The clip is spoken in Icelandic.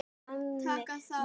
Taka þá!